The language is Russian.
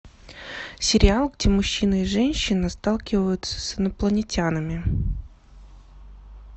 сериал где мужчина и женщина сталкиваются с инопланетянами